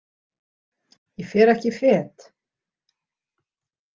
Ég fer ekki fet.